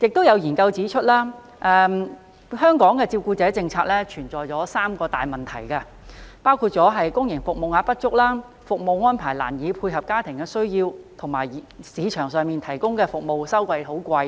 有研究指出，香港的照顧者政策有三大問題，包括公營服務名額不足、服務安排難以配合家庭需要，以及市場上提供的服務收費高昂。